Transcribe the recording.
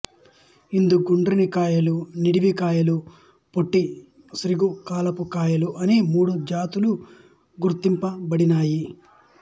ఇందు గుండ్రని కాయలు నిడివి కాయలు పొట్టిశీఘ్రకాలపు కాయలు అని మూడు ఉపజాతులు గుర్తింపబడినాయి